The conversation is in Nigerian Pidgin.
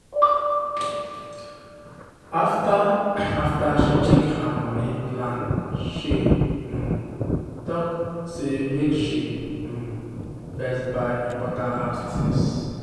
money adviser dey advise make you dey keep 20 percent from monthly salary for long-term savings.